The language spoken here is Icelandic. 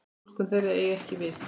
Túlkun þeirra eigi ekki við.